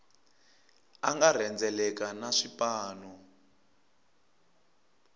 a nga rhendzeleka na swipanu